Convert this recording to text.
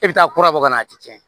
E bɛ taa kura bɔ ka na a tɛ tiɲɛ